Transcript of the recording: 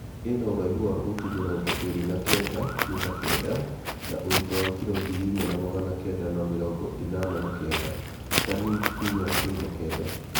ĩna ũraihu wa futi mĩrongo ĩrĩ na kenda (mita 9), na ũritũ wa kiro ngiri inya na magana kenda ma mĩrongo ĩnana na kenda(tani 4.9).